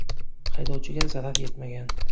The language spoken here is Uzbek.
Haydovchiga zarar yetmagan.